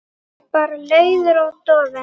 Bara leiður og dofinn.